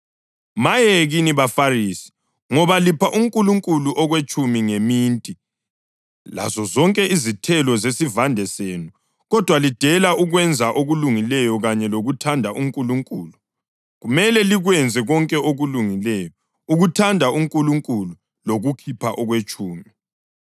Maye kini baFarisi, ngoba lipha uNkulunkulu okwetshumi kweminti, lazozonke izithelo zesivande senu, kodwa lidele ukwenza okulungileyo kanye lokuthanda uNkulunkulu. Kumele likwenze konke okulungileyo, ukuthanda uNkulunkulu lokukhipha lokwetshumi.